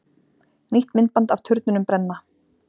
Nýtt myndband af turnunum brenna